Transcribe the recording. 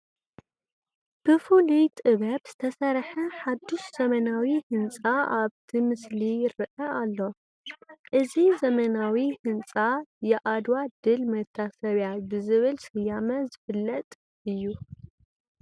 ብፍሉይ ጥበብ ዝተሰርሐ ሓዱሽ ዘመናዊ ህንፃ ኣብቲ ምስሊ ይርአ ኣሎ፡፡ እዚ ዘመናዊ ህንፃ የኣድዋ ድል መታሰብያ ብዝብል ስያመ ዝፍለጥ እዩ፡፡